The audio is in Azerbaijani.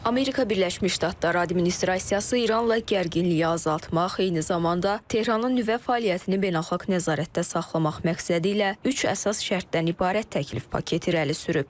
Amerika Birləşmiş Ştatları administrasiyası İranla gərginliyi azaltmaq, eyni zamanda Tehranın nüvə fəaliyyətini beynəlxalq nəzarətdə saxlamaq məqsədilə üç əsas şərtdən ibarət təklif paketi irəli sürüb.